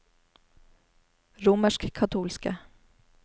romerskkatolske